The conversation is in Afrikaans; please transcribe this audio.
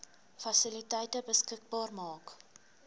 fasiliteite beskikbaar maak